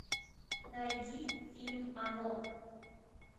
найди фильм оно